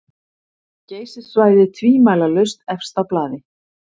Geysissvæðið tvímælalaust efst á blaði.